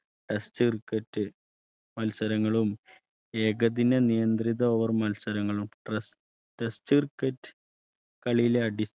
Test wicket മത്സരങ്ങളും ഏകദിനനിയന്ത്രിത Over മത്സരങ്ങളും Test wicket കളിയിലെ